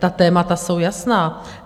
Ta témata jsou jasná.